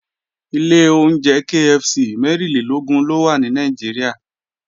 Ilé oúnjẹ KFC mẹ́rìnlélógún ló wà ní Nàìjíríà